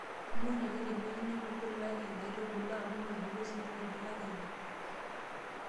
Miun ake teng'ueji nemebulaki nkaitubulu amu mebulu siininye mbuka teine.